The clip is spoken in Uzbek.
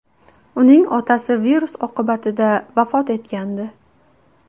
Uning otasi virus oqibatida vafot etgandi.